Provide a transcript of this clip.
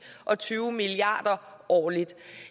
og tyve milliarder årligt